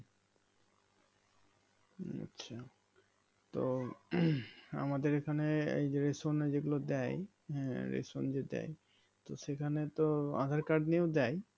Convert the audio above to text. আচ্ছা তো উম আমাদের এখানে এইযে রেশনে যেগুলো দেয় হ্যাঁ রেশন যে দেয় তো সেখানে তো আধার কার্ড নিয়েও দেয়